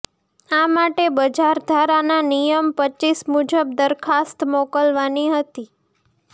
આ માટે બજારધારાના નિયમ રપ મુજબ દરખાસ્ત મોકલવાની હતી